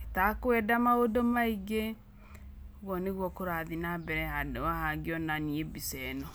ĩ takwenda maũndũ maingĩ. ũguo nĩguo kũrathiĩ na mbere handũ haha ngĩona niĩ mbica ĩno.